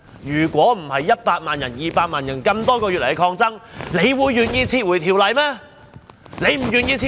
要不是100萬、200萬人多個月以來的抗爭，她會願意撤回條例嗎？